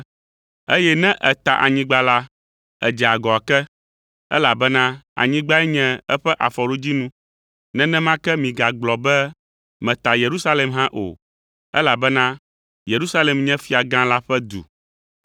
Eye ne èta Anyigba la, edze agɔ ake, elabena anyigbae nye eƒe afɔɖodzinu. Nenema ke migagblɔ be meta ‘Yerusalem’ hã o, elabena Yerusalem nye Fiagã la ƒe du.